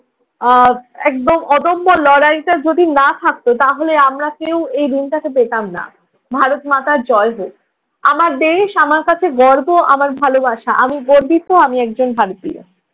আহ একদম অদম্য লড়াইটা যদি না থাকতো তাহলে আমরা কেউ এই দিনটাকে পেতাম না। ভারত মাতার জয় হোক। আমার দেশ আমার কাছে গর্ব, আমার ভালবাসা। আমি গর্বিত আমি একজন ভারতীয়।